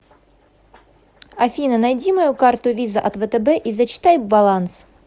афина найди мою карту виза от втб и зачитай баланс